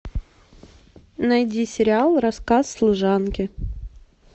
найди сериал рассказ служанки